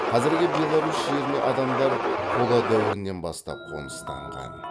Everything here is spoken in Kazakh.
қазіргі беларусь жеріне адамдар қола дәуірінен бастап қоныстанған